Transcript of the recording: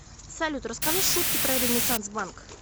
салют расскажи шутки про ренессанс банк